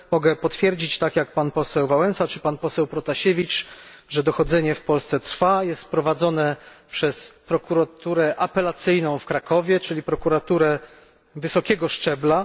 Mogę potwierdzić, tak jak pan poseł Wałęsa czy pan poseł Protasiewicz, że dochodzenie w Polsce trwa, jest prowadzone przez prokuraturę apelacyjną w Krakowie, czyli prokuraturę wysokiego szczebla.